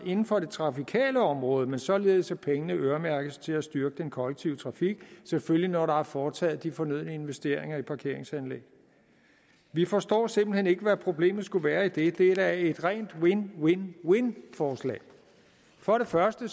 inden for det trafikale område men således at pengene øremærkes til at styrke den kollektive trafik selvfølgelig når der er foretaget de fornødne investeringer i parkeringsanlæg vi forstår simpelt hen ikke hvad problemet skulle være i det det er da et rent win win win forslag for det første